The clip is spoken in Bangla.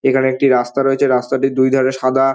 এখানে একটি রাস্তা রয়েছে রাস্তাটির দুই ধরে সাদা।